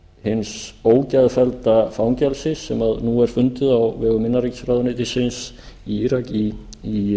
hins ógeðfellda fangelsis sem nú er fundið á vegum innanríkisráðuneytisins í írak þar í